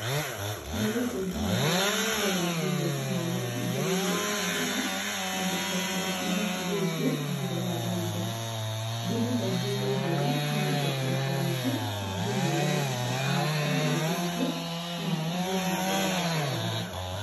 Nĩ gũcũnga mũhera na kuoya mbirũ hamwe na indo iria agũra, na gũcokera ithabu rĩngĩ, ngĩroraga indo. Ndĩmũhe mbirũ njega na indo ciake rĩngĩ, na ndĩmwĩre gũtikahanĩka ũguo rĩngĩ, na athiĩ na mbere gũtũgũrĩra.